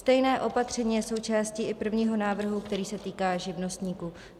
Stejné opatření je součástí i prvního návrhu, který se týká živnostníků.